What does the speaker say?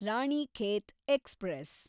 Ranikhet express